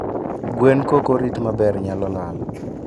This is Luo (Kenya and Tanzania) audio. gwen kokorit maber naylolal